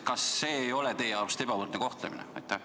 Kas see ei ole teie arust ebavõrdne kohtlemine?